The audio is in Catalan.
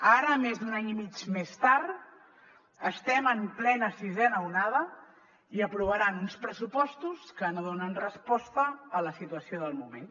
ara més d’un any i mig més tard estem en plena sisena onada i aprovaran uns pressupostos que no donen resposta a la situació del moment